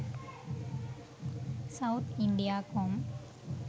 sauth india com